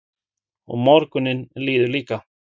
Og morgunninn líður líka.